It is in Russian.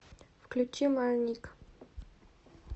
включи марник